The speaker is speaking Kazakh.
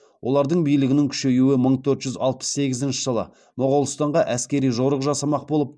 олардың билігінің күшеюі мың төрт жүз алпс сегізінші жылы моғолстанға әскери жорық жасамақ болып